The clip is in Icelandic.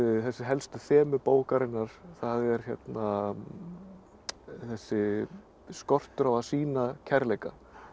þessi helstu þemu bókarinnar það er þessi skortur á að sýna kærleika